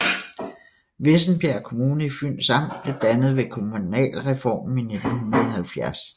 Vissenbjerg Kommune i Fyns Amt blev dannet ved kommunalreformen i 1970